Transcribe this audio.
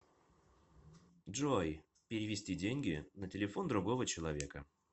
джой перевести деньги на телефон другого человека